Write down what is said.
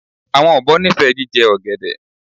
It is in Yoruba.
Awọn obo nifẹ jijẹ ogede